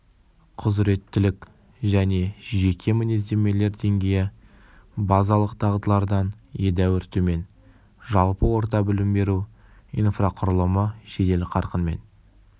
құзыреттілік және жеке мінездемелер деңгейі базалық дағдылардан едәуір төмен жалпы орта білім беру инфрақұрылымы жедел қарқынмен